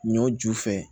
Ɲɔ ju fɛ